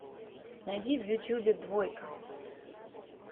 найди в ютубе двойка